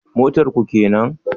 Motar ku kenan?